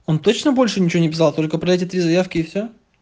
он точно больше ничего не писал только эти три заявки и всё